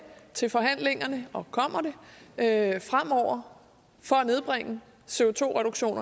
til forhandlingerne for at nedbringe